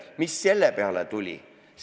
Mis selle peale on tulnud?